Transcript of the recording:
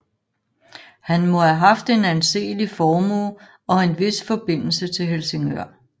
Han må have haft en anseelig formue og en hvis forbindelse til Helsingør